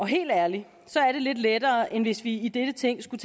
helt ærligt er det lidt lettere end hvis vi i dette ting skulle